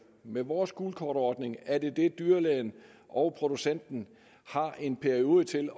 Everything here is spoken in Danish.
med vores gult kort ordning er det det dyrlægen og producenten har en periode til